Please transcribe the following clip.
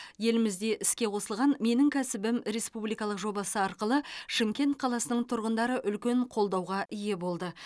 елімізде іске қосылған менің кәсібім республикалық жобасы арқылы шымкент қаласының тұрғындары үлкен қолдауға ие болды